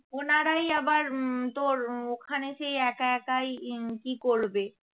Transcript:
ওনারাই আবার হম তোর ওখানে সেই এক একাই হম কি করবে?